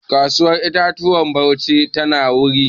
Kasuwar 'ya'yan itatuwa a Bauchi tana wari.